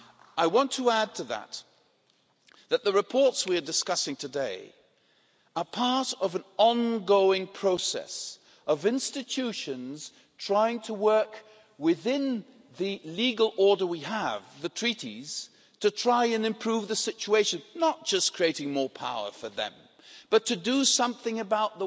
I want to add that the reports we're discussing today are part of an ongoing process of institutions trying to work within the legal order that we have, the Treaties, to try to improve the situation not just creating more power for themselves but doing something about